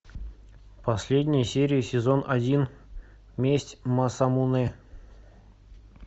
последняя серия сезон один месть масамунэ